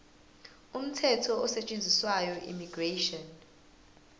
umthetho osetshenziswayo immigration